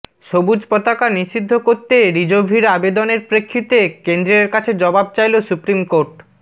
সবুজ পতাকা নিষিদ্ধ করতে রিজভির আবেদনের প্ৰেক্ষিতে কেন্দ্ৰের কাছে জবাব চাইল সুপ্ৰিমকোর্ট